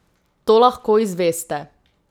To lahko izveste.